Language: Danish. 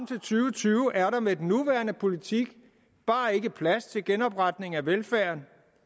tusind og tyve er der med den nuværende politik bare ikke plads til genopretning af velfærden